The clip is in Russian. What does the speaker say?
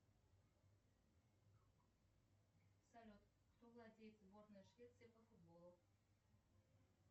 салют кто владеет сборной швеции по футболу